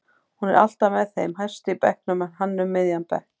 Hún er alltaf með þeim hæstu í bekknum en hann um miðjan bekk.